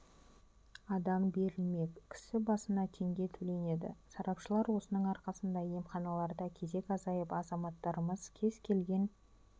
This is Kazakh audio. адам берілмек кісі басына теңге төленеді сарапшылар осының арқасында емханаларда кезек азайып азаматтарымыз кез келген